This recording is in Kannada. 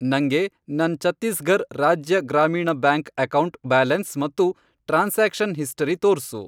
ನಂಗೆ ನನ್ ಛತ್ತೀಸ್ಘರ್ ರಾಜ್ಯ ಗ್ರಾಮೀಣ್ ಬ್ಯಾಂಕ್ ಅಕೌಂಟ್ ಬ್ಯಾಲೆನ್ಸ್ ಮತ್ತು ಟ್ರಾನ್ಸಾಕ್ಷನ್ ಹಿಸ್ಟರಿ ತೋರ್ಸು.